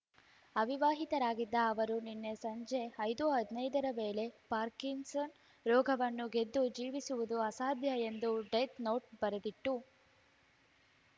ಅವಿವಾಹಿತರಾಗಿದ್ದ ಅವರು ನಿನ್ನೆ ಸಂಜೆ ಐದು ಹದನೈದರ ವೇಳೆ ಪಾರ್ಕಿನ್‌ಸನ್ ರೋಗವನ್ನು ಗೆದ್ದು ಜೀವಿಸುವುದು ಅಸಾಧ್ಯ ಎಂದು ಡೆತ್ ನೋಟ್ ಬರೆದಿಟ್ಟು